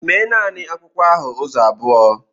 Mee naanị akwụkwọ ahụ ụzọ abụọ!